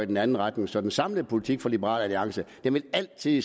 den anden retning så den samlede politik for liberal alliance vil altid